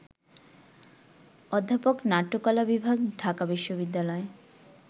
অধ্যাপক, নাট্যকলা বিভাগ, ঢাকা বিশ্ববিদ্যালয়